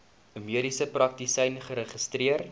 mediese praktisyn geregistreer